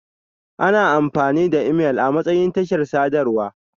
Ana amfani da imel amatsayin tashar sadarwa.